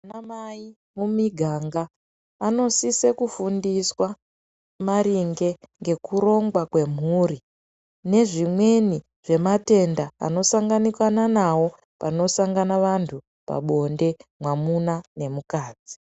Ana mai mumiganga anosise kufundiswa maringe ngekurongwa kwemhuri nezvimweni zvematenda anosanganwa nawo panosanga vanhu pabonde mwamuna nemukadzi